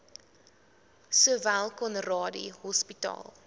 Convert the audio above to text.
sowel conradie hospitaal